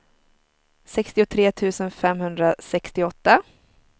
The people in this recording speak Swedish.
sextiotre tusen femhundrasextioåtta